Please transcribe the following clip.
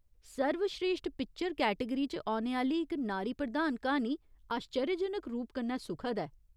सर्वस्रेश्ठ picture category च औने आह्‌ली इक नारी प्रधान क्हानी आश्चर्यजनक रूप कन्नै सुखद ऐ।